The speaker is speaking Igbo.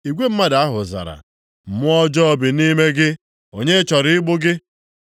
Igwe mmadụ ahụ zara, “Mmụọ ọjọọ bi nʼime gị, onye chọrọ igbu gị?”